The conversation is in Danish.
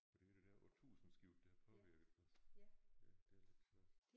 For det er det der årtusindskifte der har påvirket os ja det er lidt sjovt